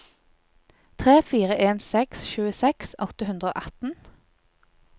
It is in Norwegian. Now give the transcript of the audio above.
tre fire en seks tjueseks åtte hundre og atten